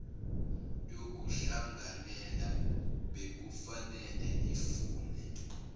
yokuhlanganela bekufanele ifune